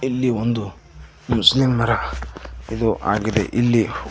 ಇಲ್ಲಿ ಒಂದು ಹುಸ್ನೆಮರ ಇದು ಆಗಿದೆ ಇಲ್ಲಿ--